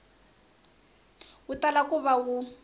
wu tala ku va wu